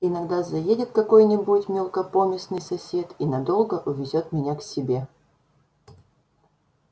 иногда заедет какой-нибудь мелкопоместный сосед и надолго увезёт меня к себе